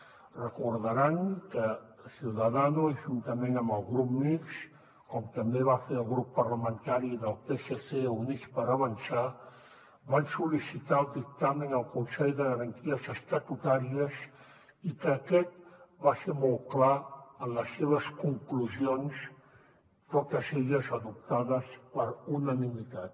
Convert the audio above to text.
deuen recordar que ciudadanos juntament amb el grup mixt com també va fer el grup parlamentari del psc i units per avançar van sol·licitar el dictamen al consell de garanties estatutàries i que aquest va ser molt clar en les seves conclusions totes elles adoptades per unanimitat